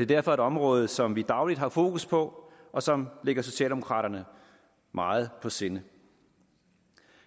er derfor et område som vi dagligt har fokus på og som ligger socialdemokraterne meget på sinde